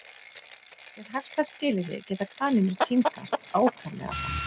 Við hagstæð skilyrði geta kanínur tímgast ákaflega hratt.